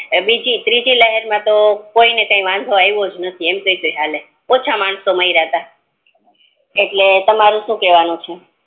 ત્રીજી લહેર માતો કોઈને કી વાંધો આયવો જ નથી એટલે ઓછા માણસો મયરા તા તમારું શું કેવાનું હે